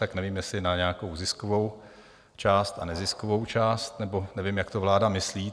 Tak nevím, jestli na nějakou ziskovou část a neziskovou část, nebo nevím, jak to vláda myslí?